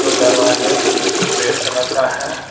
दो दरवाजे red colour का है।